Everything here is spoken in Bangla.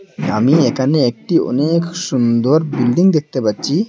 আমি একানে একটি অনেক সুন্দর বিল্ডিং দেখতে পাচ্চি।